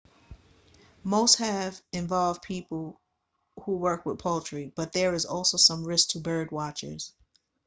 most have involved people who work with poultry but there is also some risk to birdwatchers